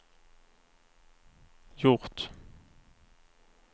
gjort